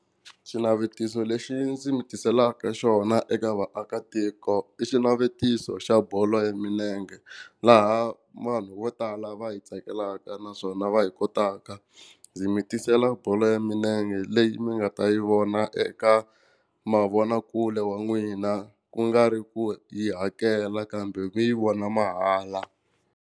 Xinavetiso lexi ndzi mi tiselaka xona eka vaakatiko i xinavetiso xa bolo ya milenge laha vanhu vo tala va yi tsakelaka naswona va yi kotaka. Ndzi mi tisela bolo ya milenge leyi mi nga ta yi vona eka mavonakule wa n'wina ku nga ri ku yi hakela kambe mi yi vona mahala.